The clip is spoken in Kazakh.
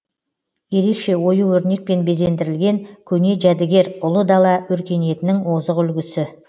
ерекше ою өрнекпен безендірілген көне жәдігер ұлы дала өркениетінің озық үлгісі